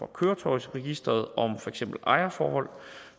køretøjsregisteret om for eksempel ejerforhold